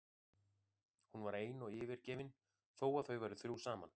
Hún var ein og yfirgefin þó að þau væru þrjú saman.